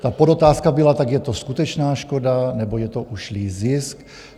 Ta podotázka byla - tak je to skutečná škoda, nebo je to ušlý zisk?